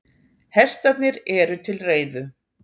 Hestarnir eru til reiðu.